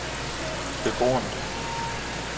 beboerne